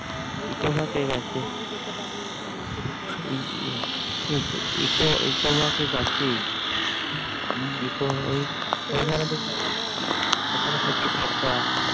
eco park কাছেই হু মাসি তো বলবেই eco park কাছেই ওখানে প্রচুর খরচা